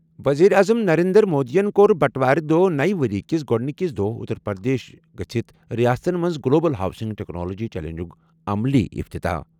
ؤزیٖر اعظم نریندر مودِین کوٚر بَٹہٕ وارِ دۄہ نَیہِ ؤرِیہِ کِس گۄڈٕنِکِس دۄہ اُتر پرٛدیش ہیٚتھ رِیاستن منٛز گلوبل ہاؤسنگ ٹیکنالوجی چیلنجُک عملی افتتاح ۔